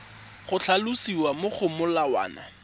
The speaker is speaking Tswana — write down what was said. go tlhalosiwa mo go molawana